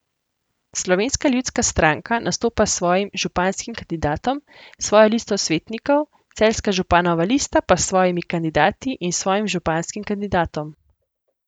Slovenska ljudska stranka nastopa s svojim županskim kandidatom, svojo listo svetnikov, Celjska županova lista pa s svojimi kandidati in s svojim županskim kandidatom.